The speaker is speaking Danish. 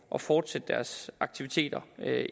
og fortsætte deres aktiviteter